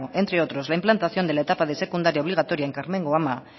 entre otros la implantación de la etapa de secundaria obligatoria en karmengo ama